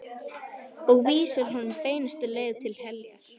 Og vísar honum beinustu leið til heljar.